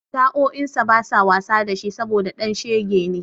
Sa'o'insa basa wasa da shi saboda ɗan shege ne.